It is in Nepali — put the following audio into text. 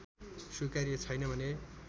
स्वीकार्य छैन भने